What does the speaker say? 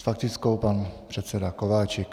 S faktickou pan předseda Kováčik.